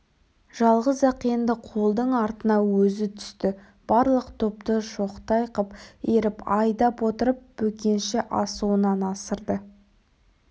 жалғыз-ақ енді қолдың артына өзі түсті барлық топты шоқтай қып иіріп айдап отырып бөкенші асуынан асырды